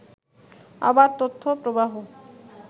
অবাধ তথ্য প্রবাহ